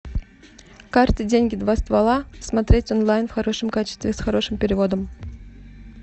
карты деньги два ствола смотреть онлайн в хорошем качестве с хорошим переводом